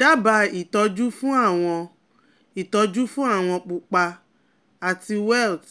Daba itọju fun awo itọju fun awo pupa ati welts